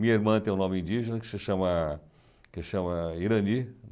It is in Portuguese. Minha irmã tem um nome indígena, que se chama que chama Irani.